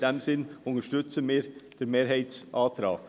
Aus diesen Gründen unterstützen wir den Mehrheitsantrag.